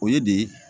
O ye de ye